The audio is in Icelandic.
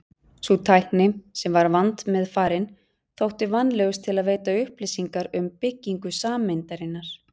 Sú tækni, sem var vandmeðfarin, þótti vænlegust til að veita upplýsingar um byggingu sameindarinnar.